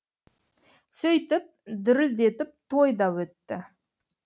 сөйтіп дүрілдетіп той да өтті